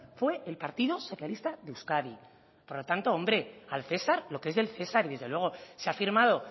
fue el partido socialista de euskadi por lo tanto hombre al cesar lo que es del cesar y desde luego se ha firmado